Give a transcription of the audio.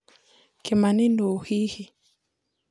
Kimani nũ hihi?